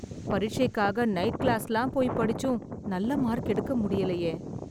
பரிட்சைக்காக night க்ளாஸ்லாம் போயி படிச்சும், நல்ல மார்க் எடுக்க முடியலயே...